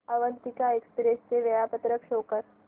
Avantika Express चे वेळापत्रक show कर